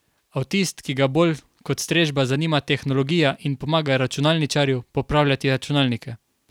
Avtist, ki ga bolj kot strežba zanima tehnologija in pomaga računalničarju popravljati računalnike.